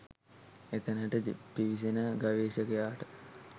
එතැනට පිවිසෙන ගවේෂකයාට